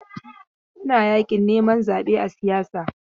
Ana yakin neman zaɓe a siyasa.